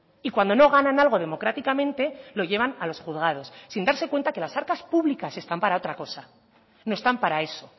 y cuando no ganan algo democráticamente lo llevan a los juzgados sin darse cuenta que las arcas públicas están para otra cosa no están para eso